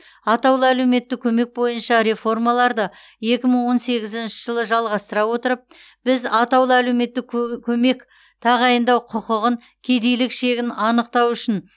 атаулы әлеуметтік көмек бойынша реформаларды екі мың он сегізінші жылы жалғастыра отырып біз атаулы әлеуметтік кө көмек тағайындау құқығын кедейлік шегін анықтау үшін